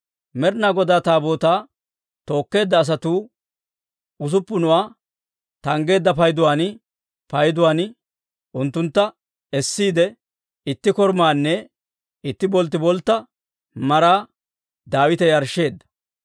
Med'inaa Godaa Taabootaa tookkeedda asatuu usuppunuwaa tanggeedda payduwaan payduwaan unttuntta essiide, itti korumaanne itti bolttiboltta maraa Daawite yarshsheedda.